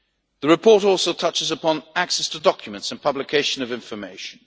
The report also touches upon access to documents and publication of information.